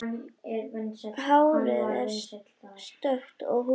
Hárið er stökkt og húðin.